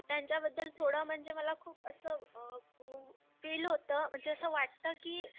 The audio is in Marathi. त्यांच्याबद्दल थोडं म्हणजे मला खूप असं म्हणजे फिल होत म्हणजे असं वाटतं कि